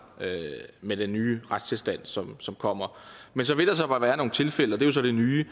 med den nye retstilstand som som kommer men så vil der bare være nogle tilfælde og det er så det nye